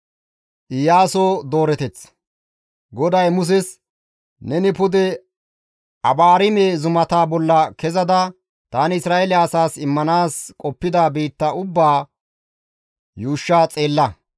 GODAY Muses, «Neni pude Abaarime zumata bolla kezada tani Isra7eele asaas immanaas qoppida biitta ubbaa yuushsha xeella.